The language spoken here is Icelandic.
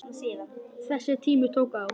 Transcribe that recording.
Þessi tími tók á.